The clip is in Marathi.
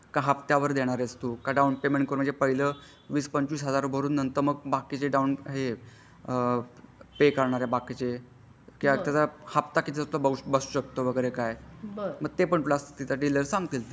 कि हप्त्यावर देणार आहेस तू का डाउन पायमेन्ट करून म्हणजे पाहिला वीस पंचवीस हजार रुपय भरून हे पे करणार बाकीचे कि त्याचवर हप्ता किती बसू शकतो वगरे काय मग ते पण प्लस डीलर सांगतील ते.